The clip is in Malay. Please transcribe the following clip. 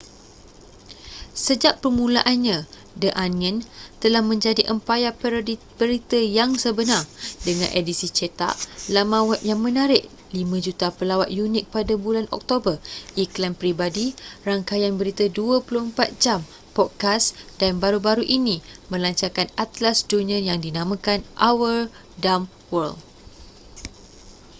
sejak permulaannya the onion telah menjadi empayar parodi berita yang sebenar dengan edisi cetak laman web yang menarik 5,000,000 pelawat unik pada bulan oktober iklan peribadi rangkaian berita 24 jam podcast dan baru-baru ini melancarkan atlas dunia yang dinamakan our dumb world